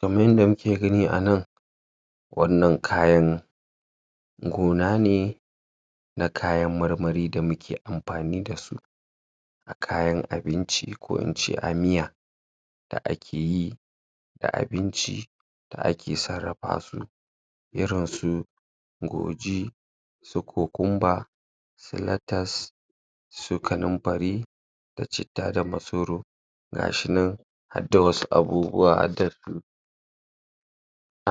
Kaman yanda muke gani a nan wannan kayan gona ne na kayan marmari da muke ampani da su a kayan abinci ko in ce a miya da ake yi da abinci da ake sarrapa su irin su goji su su latas su kanumpari da citta da masoro gashinan hadda wasu abubuwa hadda su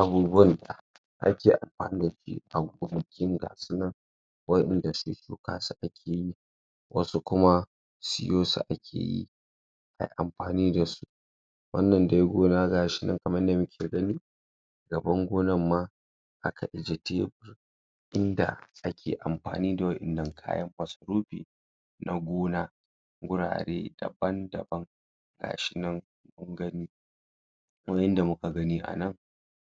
abubuwan da ake ampani da shi a gonakin ga su nan wa'inda se shuka su ake yi wasu kuma siyo su ake yi ai ampani da su wannan de gona gashinan kaman yanda muke gani gaban gonan ma aka ijiye inda ake ampani da wa'innan kayan masarupi na gona gurare dabam daban gashinan kun gani kaman yanda muka gani a nan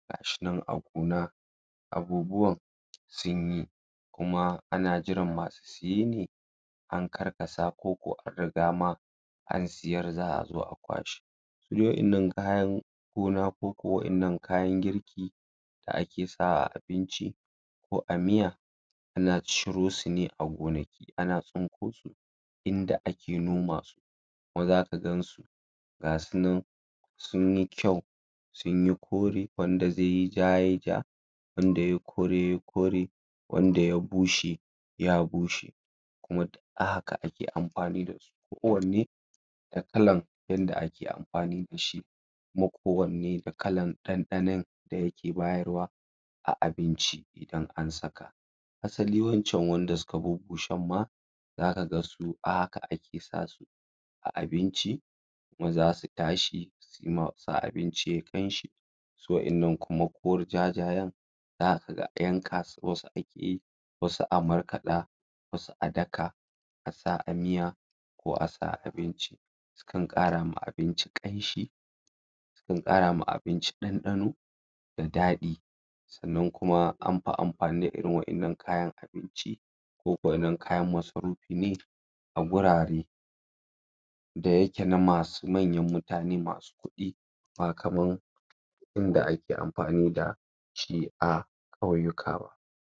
gashinan a gona abubuwan sunyi kuma ana jiran masu siye ne an karkasa ko ko an riga ma an siyar za a zo a kwashe su de wa'innan kayan gona ko ko wa'innan kayan girki da ake sawa a abinci ko a miya ana cirre su ne a gonaki ana tsinko su inda ake noma su kuma zaka gansu gasu nan sunyi kyau sunyi kore wanda ze yi ja yai ja wanda yai kore yai kore wanda ya bushe ya bushe kuma duk a haka ake ampani da su ko wanne da kalan yanda ake ampani da shi kuma ko wanne da kalan ɗanɗanan da yake bayarwa a abinci idan an saka hasali wa'incan wanda suka bubbusen ma zaka ga su a haka ake sa su a abinci kuma zasu tashi suyi ma su sa abinci yayi ƙamshi su wa'innan kuma jajayen zaka ga yanka su wasu ake yi wasu a markaɗa wasu a daka a sa a miya ko a sa a abinci sukan ƙara ma abinci ƙanshi kan ƙara ma abinci ɗanɗano da daɗi sannan kuma am pi da ampani da irin wa'innan kayan abinci ko ko kayan masarupi e a gurare da yake na masu manyan mutane masu kuɗi ba kaman inda ake ampani da shi a ƙauyuka ba.